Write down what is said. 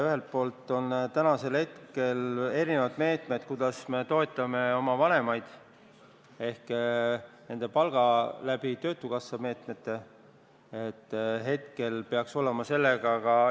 Ühelt poolt on täna erinevaid meetmeid, mille abil me oma lapsevanemaid toetame, näiteks läbi töötukassa meetmete nende palga kaudu.